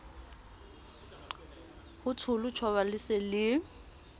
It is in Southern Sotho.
hotsholo tjhoba le se le